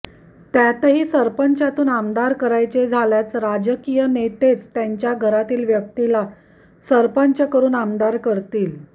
त्यातही सरपंचातून आमदार करायचे झाल्यास राजकीय नेतेच त्यांच्या घरातील व्यक्तीला सरपंच करुन आमदार करतील